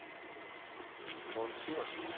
Dorthe Sivertsen